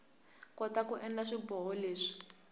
kota ku endla swiboho leswi